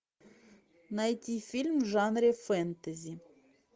найти фильм в жанре фэнтези